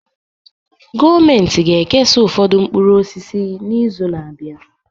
Gọọmentị ga-ekesa ụfọdụ mkpụrụ osisi n'izu na-abịa